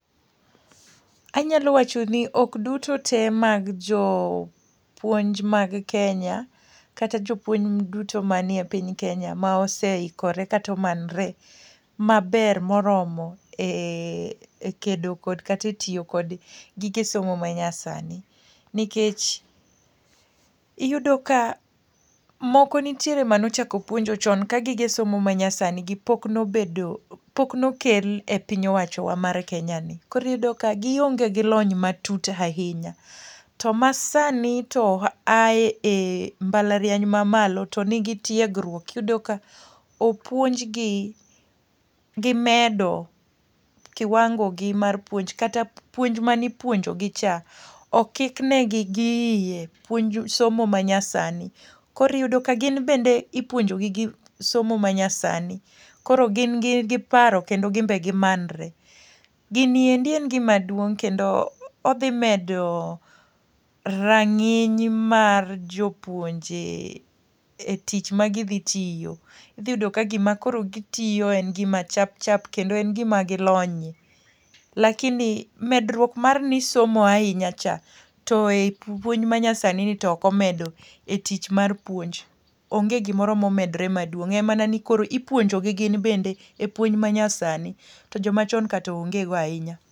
Anyalo wacho ni ok duto te mag jopuonj mag Kenya kata jopuonj duto manie piny Kenya ma oseikore katomanre maber moromo e ekedo kate tiyo kod gige somo ma nyasani. Nikech, iyudo ka moko nitiere manochako puonjo chon ka gige somo ma nyasani gi pok nobedo pok nokel e piny owacho wa mar Kenya ni. Koriyudo ka gionge gi lony ma tut ahinya, to masani to a e e mbalariany ma malo to nigi tiegruok. Iyudo ka opuonj gi, gimedo kiwango gi mar puonj. Kata puonj manipuonjogi ka, okik negi gi iye, puonj somo ma nyasani. Koriyudo ka gin bende ipuonjogi gi somo ma nyasani, koro gin gi paro kendo gimbe gimanre. Gini endi en gima duong' kendo odhi medo rang'iny mar jopuonje e tich ma gidhi tiyo. Idhi yudo ka gima koro gitiyo en gima chap chap kendo en gima gilonye. Lakini medruok mar ni isomo ahinya cha to e puonj ma nyasani ni to okomedo e tich mar puonj. Onge gimoro momedre maduong', en mana ni koro ipuonjo gi gin bende e puonj ma nyasani. To joma chon ka to onge go ahinya.